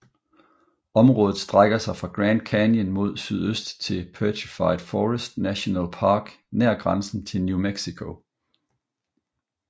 Området strækker sig fra Grand Canyon mod sydøst til Petrified Forest National Park nær grænsen til New Mexico